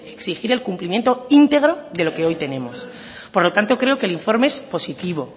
exigir el cumplimiento íntegro de lo que hoy tenemos por lo tanto creo que el informe es positivo